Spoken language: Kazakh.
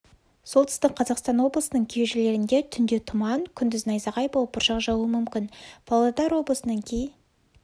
солтүстік қазақстан облысының кей жерлерінде түнде тұман күндіз найзағай болып бұршақ жаууы мүмкін павлодар облысының кей